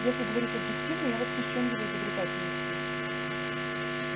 если говорить объективно я восхищён его изобретательностью